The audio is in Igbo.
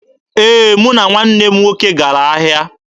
Ee, mụ na nwanne m nwoke gara ahịa.